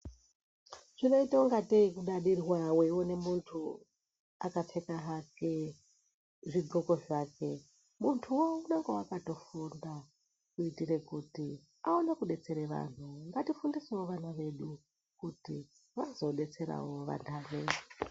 Zvinoita ingatei kudadirwa weione munthu akapfeka hake zvixoko zvake munthuwo unenge akatofunda ,muitire kuti awonewo kudetsera vanthu ngati fundisewo vana vedu ,.kuitira kuti vazo detserawo vantani.